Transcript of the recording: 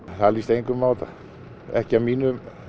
það líst engum á þetta ekki af mínum